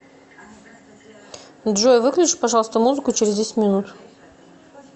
джой выключи пожалуйста музыку через десять минут